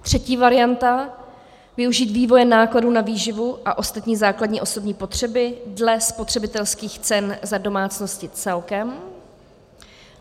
Třetí varianta - využít vývoje nákladů na výživu a ostatní základní osobní potřeby dle spotřebitelských cen za domácnosti celkem.